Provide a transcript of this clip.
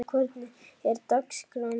Eðna, hvernig er dagskráin í dag?